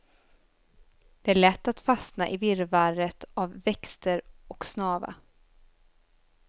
Det är lätt att fastna i virrvarret av växter och snava.